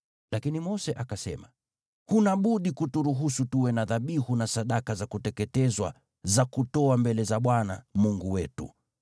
Lakini Mose akasema, “Huna budi kuturuhusu tuwe na dhabihu na sadaka za kuteketezwa za kutoa mbele za Bwana Mungu wetu.